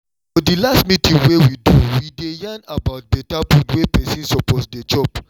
for the last meeting wey we do we dey yarn about better food wey person suppose dey chop